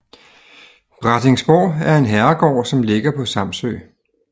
Brattingsborg er en herregård som ligger på Samsø